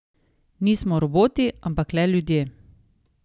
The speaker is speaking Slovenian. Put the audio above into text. Nismo roboti, ampak le ljudje.